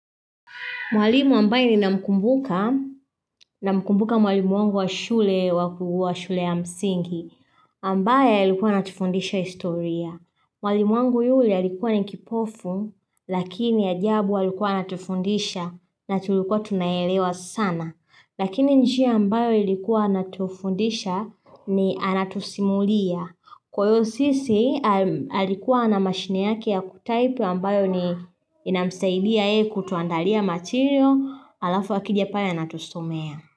Mwalimu ambaye ninamkumbuka, namkumbuka mwalimu wangu wa shule wa shule ya msingi, ambaye ilikuwa atufundisha historia. Mwalimu wangu yule alikuwa ni kipofu, lakini ajabu alikuwa anatufundisha na tulikuwa tunaelewa sana. Lakini njia ambayo ilikuwa anatufundisha ni anatusimulia. Kuwa hiyo sisi alikuwa na mashine yake ya kutaipu ambayo ni inamsaidia ye kutuandalia material alafu akija pale anatusomea.